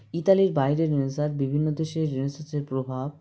ইতালির বাইরে Renaissance বিভিন্ন দেশের Renaissance -র প্রভাব